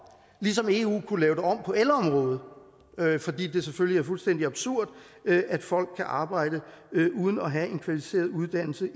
ligesom eu kunne lave det om på elområdet fordi det selvfølgelig er fuldstændig absurd at folk kan arbejde uden at have en kvalificeret uddannelse